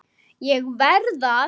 ÉG VERÐ AÐ